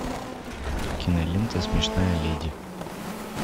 кинолента смешная леди